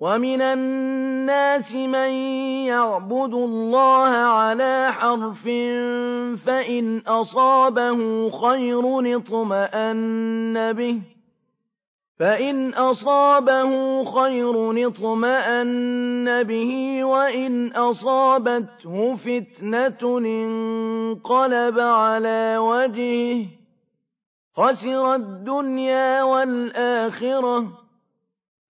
وَمِنَ النَّاسِ مَن يَعْبُدُ اللَّهَ عَلَىٰ حَرْفٍ ۖ فَإِنْ أَصَابَهُ خَيْرٌ اطْمَأَنَّ بِهِ ۖ وَإِنْ أَصَابَتْهُ فِتْنَةٌ انقَلَبَ عَلَىٰ وَجْهِهِ خَسِرَ الدُّنْيَا وَالْآخِرَةَ ۚ